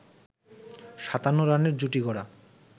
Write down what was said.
৫৭ রানের জুটি গড়া